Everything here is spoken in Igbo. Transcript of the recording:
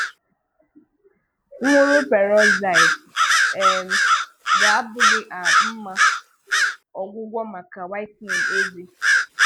Nwụrụ peroxide um ga-abụghị à mmà ọgwụgwọ maka whitening ézé.